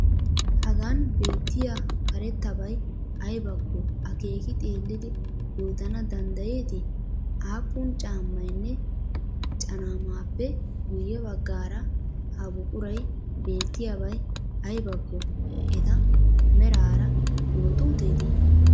Hagan bettiya karettabay aybakko akeeki xeellidi yootana danddayeetii? Aapun caammaynne caanmaappe guyye baggaara ha buquray beettiyabay aybakko eta meraara yootuuteetii?